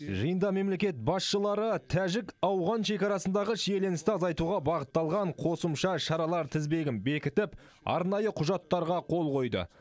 жиында мемлекет басшылары тәжік ауған шекарасындағы шиеленісті азайтуға бағытталған қосымша шаралар тізбегін бекітіп арнайы құжаттарға қол қойды